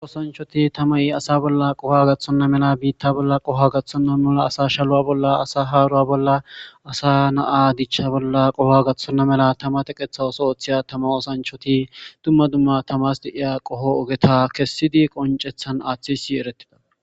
Osanchoti tamay asa bolla qoha gaththonna mela biitta bolla qoho gaththonna mela asa shaluwa bolla asa haaruwa bolla asa naa dichcha bolla qoha gaththonna mela tama teqetha oso ootheya tama osanchoti dumma dumma tamas deiya qoho ogeta kessidi qoncethan aaththisi eretida.